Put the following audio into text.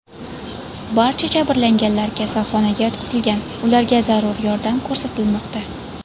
Barcha jabrlanganlar kasalxonaga yotqizilgan, ularga zarur yordam ko‘rsatilmoqda.